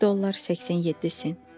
1 dollar 87 cent.